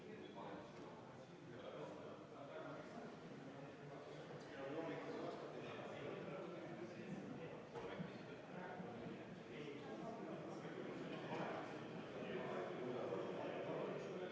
Austatud Riigikogu, panen hääletusele 16. muudatusettepaneku, esitatud põhiseaduskomisjoni poolt ja arvestatud täielikult.